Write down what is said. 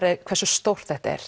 er hversu stórt þetta er